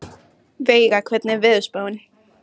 Veiga, hvernig er veðurspáin?